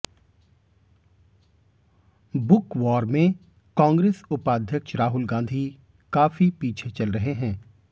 book war में कांग्रेस उपाध्यक्ष राहुल गांधी काफी पीछे चल रहे हैं